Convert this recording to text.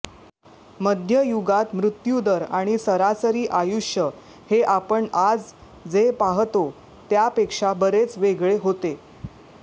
मध्ययुगात मृत्यू दर आणि सरासरी आयुष्य हे आपण आज जे पाहतो त्यापेक्षा बरेच वेगळे होते